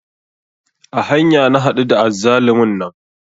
A hanya na haɗu da azzalumin nan